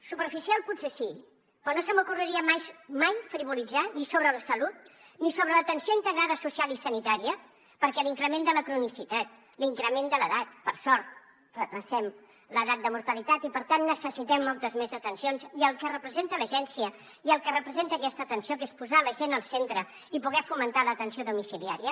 superficial potser sí però no se m’ocorreria mai frivolitzar ni sobre la salut ni sobre l’atenció integrada social i sanitària perquè l’increment de la cronicitat l’increment de l’edat per sort retardem l’edat de mortalitat i per tant necessitem moltes més atencions i el que representa l’agència i el que representa aquesta atenció que és posar la gent al centre i poder fomentar l’atenció domiciliària